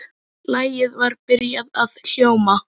Lagið var byrjað að hljóma.